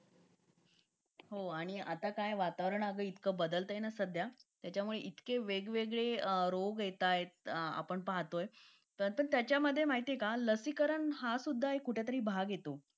Late होतं सर्दी खोकला हा एक वाढलं आहे. एका मुलाला क्लास पूर्ण क्लास त्याच्यामध्ये वाहून निघत निघत असतो असं म्हणायला हरकत नाही. हो डेंग्यू, मलेरिया यासारखे आजार पण ना म्हणजे लसीकरण आहे. पूर्ण केले तर मला नाही वाटत आहे रोप असू शकतेपुडी लसीकरणाबाबत थोडं पालकांनी लक्ष दिलं पाहिजे की आपला मुलगा या वयात आलेला आहे. आता त्याच्या कोणत्या लसी राहिलेले आहेत का?